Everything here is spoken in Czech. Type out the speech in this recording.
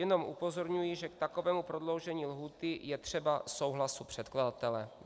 Jenom upozorňuji, že k takovému prodloužení lhůty je třeba souhlasu předkladatele.